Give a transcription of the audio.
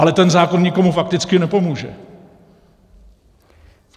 Ale ten zákon nikomu fakticky nepomůže.